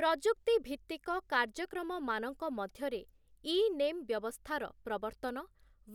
ପ୍ରଯୁକ୍ତି ଭିତ୍ତିକ କାର୍ଯ୍ୟକ୍ରମମାନଙ୍କ ମଧ୍ୟରେ ଇ ନେମ୍ ବ୍ୟବସ୍ଥାର ପ୍ରବର୍ତ୍ତନ,